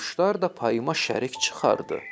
Quşlar da payıma şərik çıxardı.